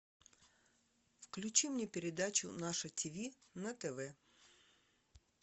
включи мне передачу наше тиви на тв